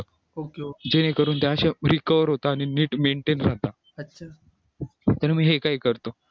खूप लोक जेणेकरून recover होत आलेली नीट maintain राहतात